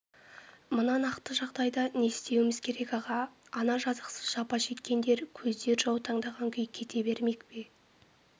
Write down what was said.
мына нақты жағдайда не істеуміз керек аға ана жазықсыз жапа шеккендер көздер жаутаңдаған күй кете бермек пе